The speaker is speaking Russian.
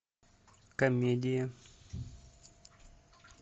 комедия